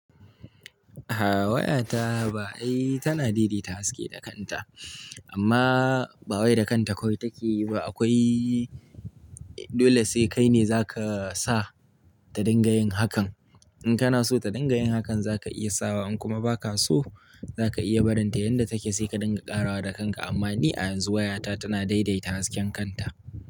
Ah wayata ba ai tana daidaita haske da kanta. Amma ba wai da kanta kawai take yi ba akwai dole sai kai ne za ka sa ta dinga yin hakan. In kana so ta dinga yin hakan za ka iya sawa, in kuma ba ka so za ka iya barinta yanda take sai ka dinga ƙarawa da kanka. Amma ni a yanzu wayata tana daidaita hasken kanta.